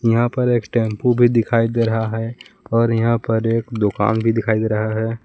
यहां पर एक टेंपो भी दिखाई दे रहा है और यहां पर एक दुकान भी दिखाई दे रहा है।